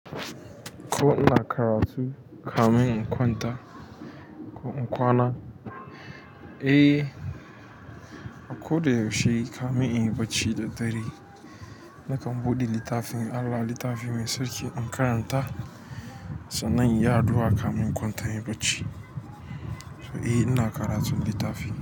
Ko ina karatu kamin in kwanta ko in kwana? Eh, a ko da yaushe kamin in yi bacci da dare. Eh, a ko da yaushe kamin in yi bacci da dare sannan in yi addua kamin in kwanta inyi bacci to eh ina karatun littafi.